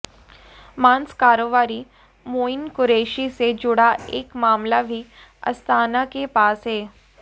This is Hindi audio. मांस कारोबारी मोईन कुरैशी से जुड़ा एक मामला भी अस्थाना के पास है